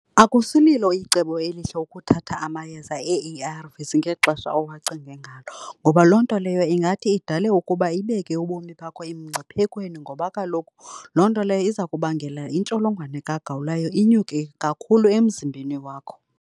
Akusililo icebo elihle ukuthatha amayeza ee-A_R_Vs ngexesha owacinge ngalo, ngoba loo nto leyo ingathi idale ukuba ibeke ubomi bakho emngciphekweni ngoba kaloku loo nto leyo iza kubangela intsholongwane kagawulayo inyuke kakhulu emzimbeni wakho.